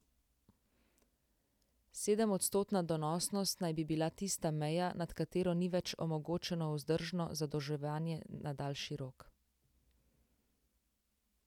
Sedemodstotna donosnost naj bi bila tista meja, nad katero ni več omogočeno vzdržno zadolževanje na daljši rok.